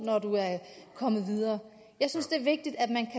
når du er kommet videre jeg synes det er vigtigt at man kan